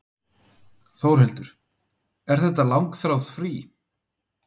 Þórhildur: Er þetta langþráð frí?